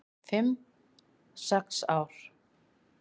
"""Fimm, sex ár?"""